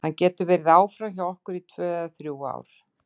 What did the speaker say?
Hann getur verið áfram hjá okkur í tvö eða þrjú ár.